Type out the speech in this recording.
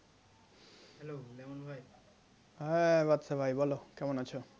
হ্যাঁ বাদশা ভাই বলো কেমন আছো?